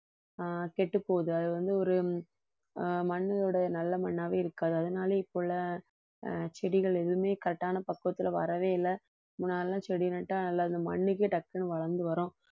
ஆஹ் கெட்டு போகுது அது வந்து ஒரு மண்ணினுடைய நல்ல மண்ணாவே இருக்காது அதனால இப்ப உள்ள செடிகள் எதுவுமே correct ஆன பக்குவத்துல வரவே இல்லை முன்னால எல்லாம் செடி நட்டா நல்லா இந்த மண்ணுக்கே டக்குனு வளர்ந்து வரும்